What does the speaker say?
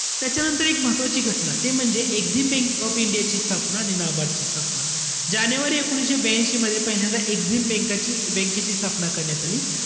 त्याच्यानंतर एक महत्वाची घटना ते म्हणजे एक्सिम बँक ऑफ इंडियाची स्थापना आणि NABARD ची स्थापना. जानेवारी एकोणीशे ब्यांशीमध्ये पहिल्यांदा एक्सिम बँकाची~ बँकेची स्थापना करण्यात आली.